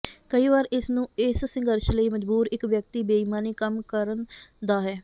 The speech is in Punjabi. ਕਈ ਵਾਰੀ ਇਸ ਨੂੰ ਇਸ ਸੰਘਰਸ਼ ਲਈ ਮਜਬੂਰ ਇੱਕ ਵਿਅਕਤੀ ਬੇਈਮਾਨੀ ਕੰਮ ਕਰਨ ਦਾ ਹੈ